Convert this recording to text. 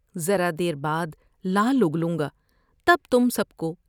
ذرا دیر بعد لحل اگلوں گا تب تم سب کو